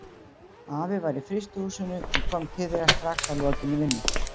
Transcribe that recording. Afi var í frystihúsinu en kom til þeirra strax að lokinni vinnu.